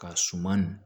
Ka suman